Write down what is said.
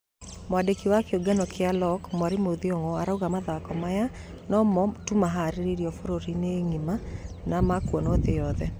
Mwandĩki wa kĩũngano gia loc mwarimũ Thiong'o arauga mathako maya nũ mo tu maharererio bũrũrĩnĩ ng'ima na makuonwa thii yothe